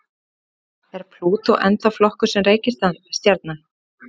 Er Plútó ennþá flokkuð sem reikistjarna?